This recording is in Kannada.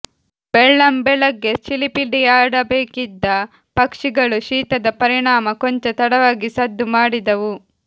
ಬೆಳ್ಳಂಬೆಳಗ್ಗೆ ಚಿಲಿಪಿಲಿಯಾಡಬೇಕಿದ್ದ ಪಕ್ಷಿಗಳು ಶೀತದ ಪರಿಣಾಮ ಕೊಂಚ ತಡವಾಗಿ ಸದ್ದು ಮಾಡಿದವು